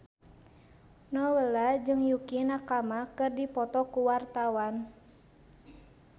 Nowela jeung Yukie Nakama keur dipoto ku wartawan